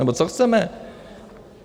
Nebo co chceme?